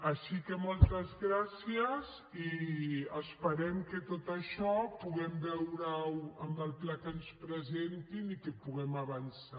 així que moltes gràcies i esperem que tot això puguem veure ho en el pla que ens presentin i que puguem avançar